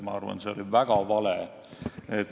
Ma arvan, see oli väga vale.